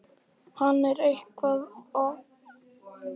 eigum við ekki að fara aftur í sömu brekkuna?